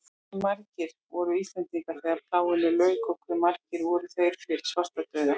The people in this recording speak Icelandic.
Hversu margir voru Íslendingar þegar plágunni lauk og hve margir voru þeir fyrir svartadauða?